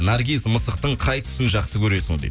наргиз мысықтың қай түсін жақсы көресін дейді